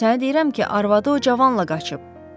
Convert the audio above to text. Sənə deyirəm ki, arvadı o cavanla qaçıb.